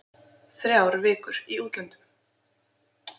Þrjár vikur í útlöndum.